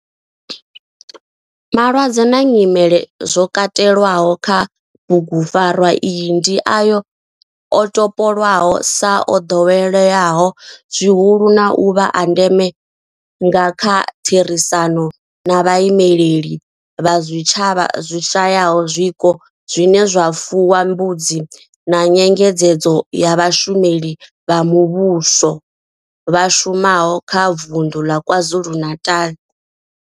Malwadze na nyimele zwo katelwaho kha bugupfarwa iyi ndi ayo o topolwaho sa o doweleaho zwihulu na u vha a ndeme nga kha therisano na vhaimeleli vha zwitshavha zwi shayaho zwiko zwine zwa fuwa mbudzi na nyengedzedzo ya vhashumeli vha muvhuso vha shumaho kha vunḓu ḽa KwaZulu-Natal.